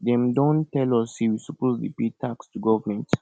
dem don tell us say we suppose dey pay tax to government